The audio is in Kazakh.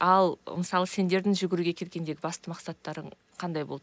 ал мысалы сендердің жүгіруге келгендегі басты мақсаттарың қандай болды